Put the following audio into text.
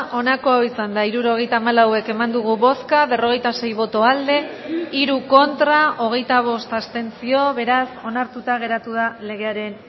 onako izan da hirurogeita hamalau eman dugu bozka berrogeita sei boto aldekoa hiru contra hogeita bost abstentzio beraz onartuta geratu da legearen